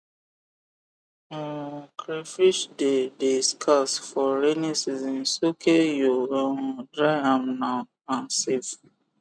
um crayfish de de scarce for raining season soake you um dry am now and save